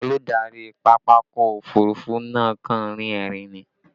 Olùdarí pápákọ̀ òfurufú náà kàn ń rín ẹ̀rín ni